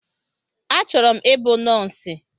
A chọrọ m ịbụ nọsi